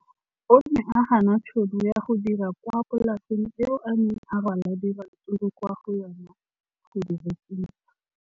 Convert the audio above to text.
O ne a gana tšhono ya go dira kwa polaseng eo a neng rwala diratsuru kwa go yona go di rekisa.